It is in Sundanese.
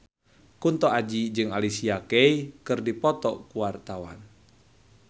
Kunto Aji jeung Alicia Keys keur dipoto ku wartawan